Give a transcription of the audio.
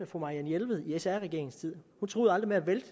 fru marianne jelved i sr regeringens tid hun truede aldrig med at vælte